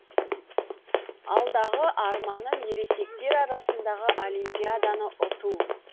алдағы арманым ересектер арасындағы олимпиаданы ұту